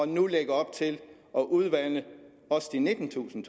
nu lægger op til at udvande også de nittentusind